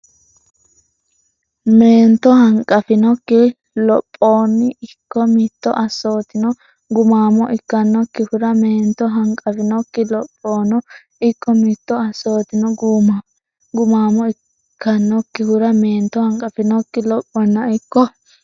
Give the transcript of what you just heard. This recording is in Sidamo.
Meento hanqaffinokki lophoono ikko mittu assootino gumaamo ikkannokkihura Meento hanqaffinokki lophoono ikko mittu assootino gumaamo ikkannokkihura Meento hanqaffinokki lophoono ikko.